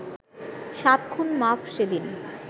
সাত খুন মাফ সেদিন